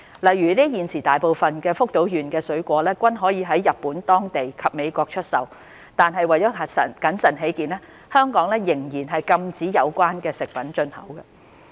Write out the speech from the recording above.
例如，現時大部分福島縣的水果均可在日本當地及美國出售，但為謹慎起見，香港仍然禁止有關食品進口。